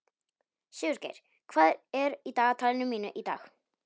Sigurgeir, hvað er í dagatalinu mínu í dag?